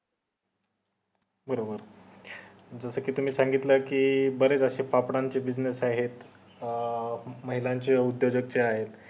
अं म्हणजे तुम्ही असं सांगितलं कि बरेच अशे पापडा चे business आहेत अं महिलांचे उदयोजक ते आहे